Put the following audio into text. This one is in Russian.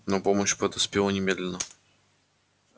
но помощь подоспела немедленно